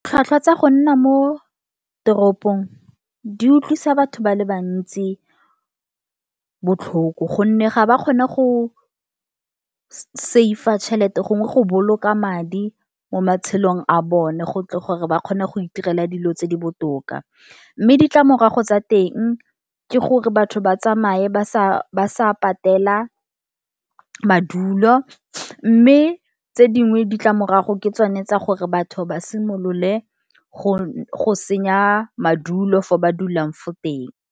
Ditlhwatlhwa tsa go nna mo teropong, di utlwisa batho ba le bantsi botlhoko gonne ga ba kgone go save-a tšhelete, gongwe go boloka madi mo matshelong a bone, go tle gore ba kgone go itirela dilo tse di botoka, mme ditlamorago tsa teng ke gore batho ba tsamaye ba sa patela madulo, mme tse dingwe ditlamorago ke tsone tsa gore batho ba simolole go senya madulo fo ba dulang fo teng.